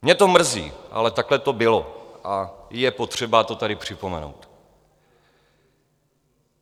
Mě to mrzí, ale takhle to bylo a je potřeba to tady připomenout.